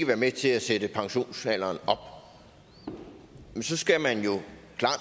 være med til at sætte pensionsalderen op men så skal man jo